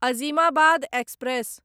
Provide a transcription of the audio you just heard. Azimabad express